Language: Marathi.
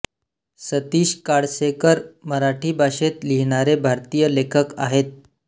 सतिश काळसेकर मराठी भाषेत लिहीणारे भारतीय लेखक आहेत